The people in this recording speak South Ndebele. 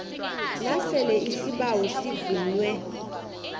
nasele isibawo sivunywe